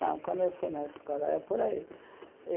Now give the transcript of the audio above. Não, quando eu fui na escola, é por aí.